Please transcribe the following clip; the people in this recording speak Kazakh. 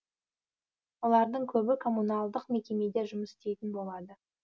олардың көбі коммуналдық мекемеде жұмыс істейтін болады